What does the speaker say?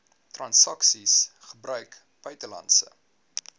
transaksies gebruik buitelandse